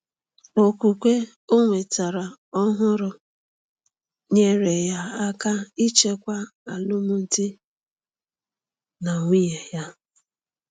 Okwukwe o nwetara ọhụrụ nyeere ya aka ichekwa alụmdi na nwunye ya.